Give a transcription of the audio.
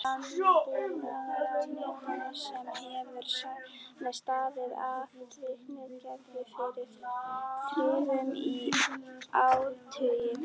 Landbúnaðarráðuneytinu sem hefur staðið atvinnugreininni fyrir þrifum í áratugi!